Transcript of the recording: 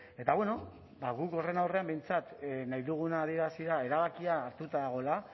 eta bueno ba guk horren aurrean behintzat nahi duguna adierazi da erabakia hartuta dagoela